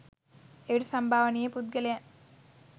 එවිට සම්භාවනීය පුද්ගලයන්